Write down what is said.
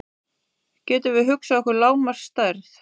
Getum við hugsað okkur lágmarksstærð?